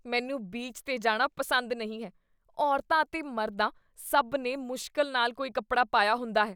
ਮੈਨੂੰ ਬੀਚ 'ਤੇ ਜਾਣਾ ਪਸੰਦ ਨਹੀਂ ਹੈ। ਔਰਤਾਂ ਅਤੇ ਮਰਦਾਂ ਸਭ ਨੇ ਮੁਸ਼ਕਿਲ ਨਾਲ ਕੋਈ ਕੱਪੜਿਆ ਪਾਇਆ ਹੁੰਦਾ ਹੈ।